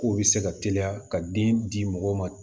K'o bɛ se ka teliya ka den di mɔgɔw ma